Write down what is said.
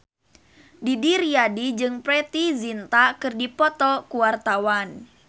Didi Riyadi jeung Preity Zinta keur dipoto ku wartawan